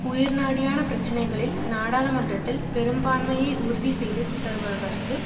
உயிர்நாடியான பிரச்சனைகளில் நாடாளுமன்றத்தில் பெரும்பான்மையை உறுதிசெய்து தருவதற்கு